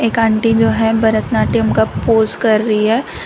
एक आंटी जो है भरतनाट्यम का पोस कर रही है।